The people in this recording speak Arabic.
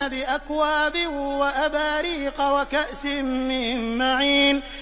بِأَكْوَابٍ وَأَبَارِيقَ وَكَأْسٍ مِّن مَّعِينٍ